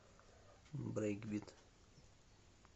брейкбит